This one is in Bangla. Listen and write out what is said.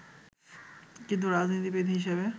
কিন্তু রাজনীতিবিদ হিসেবে